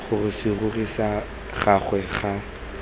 gore serori sa gagwe ga